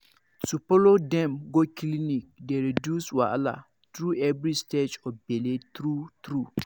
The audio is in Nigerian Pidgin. to follow dem go clinic dey reduce wahala through every stage of bele true true